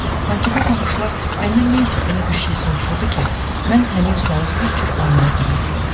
Sanki bu baxışlar məndən nəsə elə bir şey soruşurdu ki, mən həmin sualı heç cür anlaya bilmirdim.